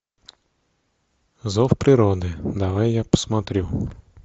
зов природы давай я посмотрю